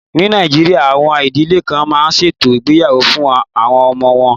Ní Nàìjíríà, àwọn ìdílé kan máa ń ṣètò ìgbéyàwó fún àwọn ọmọ wọn.